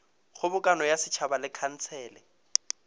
kgobokano ya setšhaba le khansele